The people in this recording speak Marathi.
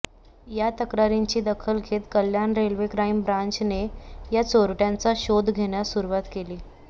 या तक्रारींची दखल घेत कल्याण रेल्वे क्राईम ब्रँचने या चोरटयांचा शोध घेण्यास सुरुवात केली